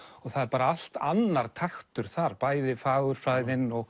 það er bara allt annar taktur þar bæði fagurfræðin og